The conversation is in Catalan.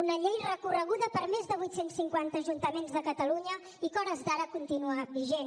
una llei recorreguda per més de vuit cents i cinquanta ajuntaments de catalunya i que a hores d’ara continua vigent